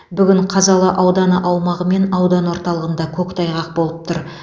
бүгін қазалы ауданы аумағы мен аудан орталығында көктайғақ болып тұр